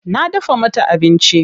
Na dafa mata abincin.